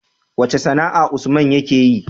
Wace sAna'a usman yake yi?